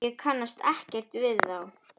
Ég kannast ekkert við þá.